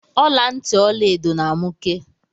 Ọlantị Ọlaedo na amụke.